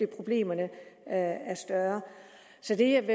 problemerne er større så det